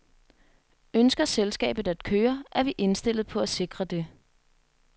Ønsker selskabet at køre, er vi indstillet på at sikre det.